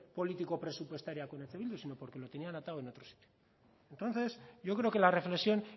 político presupuestaria con eh bildu sino porque lo tenían atado en otro sitio entonces yo creo que la reflexión